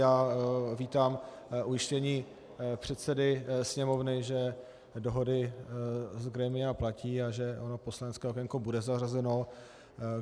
Já vítám ujištění předsedy Sněmovny, že dohody z grémia platí a že ono poslanecké okénko bude zařazeno.